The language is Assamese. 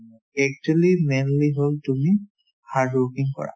actually mainly হ'ল তুমি hardworking কৰা